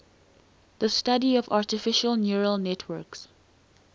the study of artificial neural networks